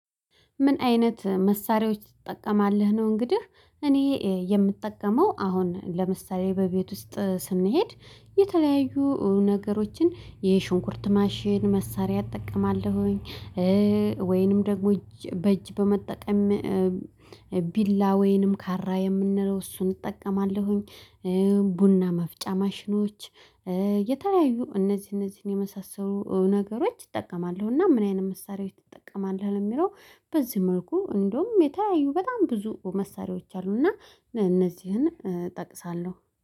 ምን አይነት መሳሪያዎች ትጠቀማለህ ነው? እንግዲህ እኔ የምጠቀመው አሁን ለምሳሌ በቤት ውስጥ ስንሄድ የተለያዩ ነገሮችን የሽንኩርት ማሽን መሳሪያ እጠቀማለሁኝ። ወይንም ደግሞ እጅ በእጅ በመጠቀም ቢላ ወይንም ካራ የምንለው እሱን እጠቀማለሁኝ። ቡና መፍጫ ማሽኖች የተለያዩ እነዚህ እነዚህን የመሳሰሉ ነገሮች ይጠቀማሉ። እና ምን አይነት መሳሪያዎች ትጠቀማለህ? ለሚለው በዚህ መልኩ እንደውም የተለያዩ በጣም ብዙ መሳሪያዎች አሉና እነዚህን እጠቅሳለሁ